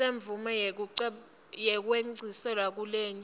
semvumo yekwengciselwa kulenye